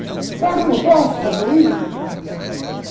Será que eu não posso fazer isso?